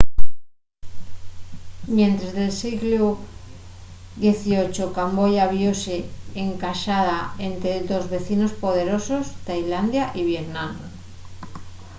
mientres el sieglu xviii camboya viose encaxada ente dos vecinos poderosos tailandia y vietnam